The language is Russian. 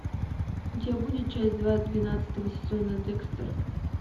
у тебя будет часть два двенадцатого сезона декстер